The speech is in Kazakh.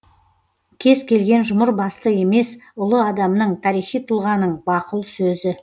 кез келген жұмыр басты емес ұлы адамның тарихи тұлғаның бақұл сөзі